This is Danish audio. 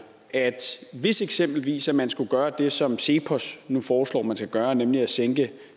at hvis eksempelvis man skulle gøre det som cepos nu foreslår man skal gøre nemlig at sænke